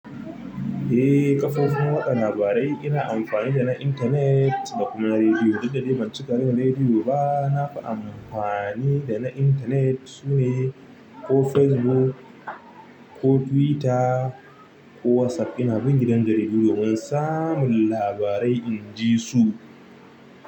Eh kafofin watsa labarai ina amfani dana internet da kuma radio duk da dai ban cika jin rediyo ba, na fi amfani da na intanet sune ko Facebook ko Twitter ko WhatsApp ina bin gidan jaridu domin samun labarai in ji su.